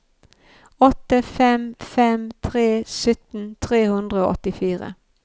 åtte fem fem tre sytten tre hundre og åttifire